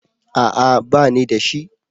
A'a banida shi